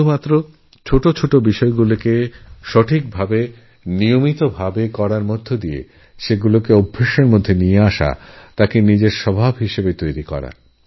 যেটা দরকার তা হলছোটো ছোটো ব্যপারে মনোযোগ দেওয়া এবং তা নিজেদের অভ্যাসের অন্তর্গত করা